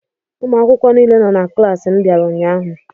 Ụmụ akwụkwọ niile nọ na klaasị m bịara ụnyaahụ.